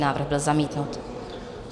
Návrh byl zamítnut.